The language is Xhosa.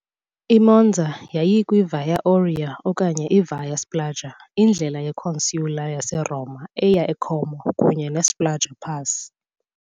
I-Monza yayikwi- "Via Aurea" okanye "i-Via Spluga", indlela ye-consular yaseRoma eya e-Como kunye ne-Spluga pass .